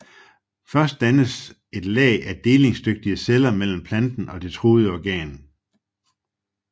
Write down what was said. Først dannes der et lag af delingsdygtige celler mellem planten og det truede organ